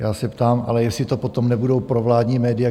Já se ptám ale, jestli to potom nebudou provládní média?